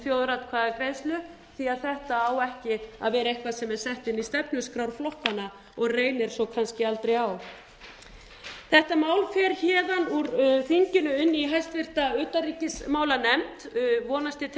þjóðaratkvæðagreiðslu því að þetta á ekki að vera nokkuð sem er sett inn í stefnuskrár flokkanna og reynir svo kannski aldrei á þetta mál fer héðan úr þinginu inn í háttvirtri utanríkismálanefnd vonandi til þess